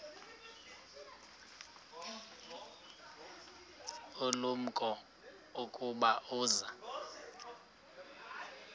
ulumko ukuba uza